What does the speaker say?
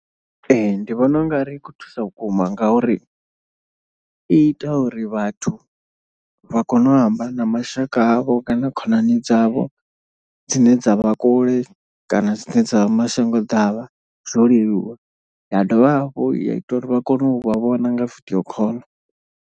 Ee ndi vhona u ngari i khou thusa vhukuma ngauri i ita uri vhathu vha kone u amba na mashaka avho kana khonani dzavho. Dzine dza vha kule kana dzine dza vha mashango ḓavha zwo leluwa, ya dovha hafhu ya ita uri vha kone u vha vhona nga video call.